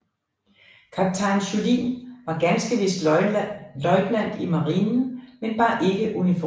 Kaptajn Juhlin var ganske vist løjtnant i marinen men bar ikke uniform